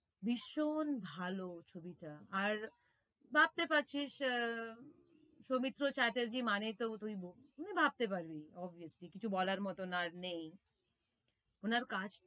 ভীষণ ভালো ছবিটা আর ভাবতে পারছিস আহ সৌমিত্র চ্যাটার্জী মানে তো তুই মানে ভাবতে পারবি obviously কিছু বলার মতো আর নেই ওনার কাজ।